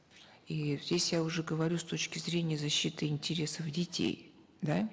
и здесь я уже говорю с точки зрения защиты интересов детей да